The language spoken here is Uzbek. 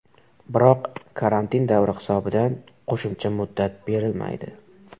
Biroq karantin davri hisobidan qo‘shimcha muddat berilmaydi.